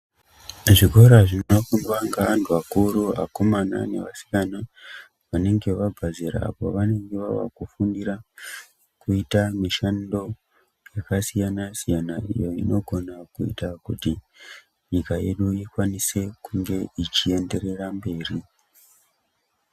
Zvikora zvinofundwa ngeanhu akuru akomanana neasikana vanenge vabva zera apo pavanenge vavakufundira kuita mishando yakasiyanasiyana iyo inogona kuita kuti nyika yedu ikwanise kunge ichienderera mberi.